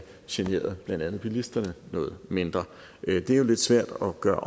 generet blandt andet bilisterne noget mindre det er jo lidt svært at gøre